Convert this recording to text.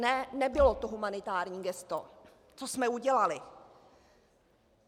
Ne, nebylo to humanitární gesto, co jsme udělali.